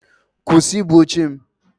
Kwụsị ibu oche m!